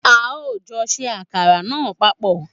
A o jọ ṣe àkàrà náà papọ̀